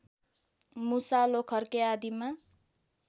मुसा लोखर्के आदिमा